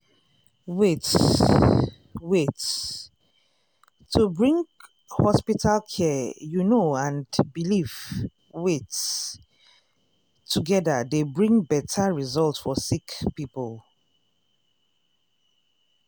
wait- wait- to bring hospital care you know and belief wait- togeda dey bring beta result for sick poeple.